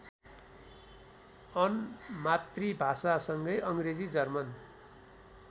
on मातृभाषासँगै अङ्ग्रेजी German